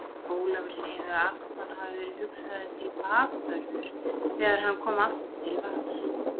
Ólafur segir að Arnar hafi verið hugsaður til bakvörður þegar hann kom aftur til Vals.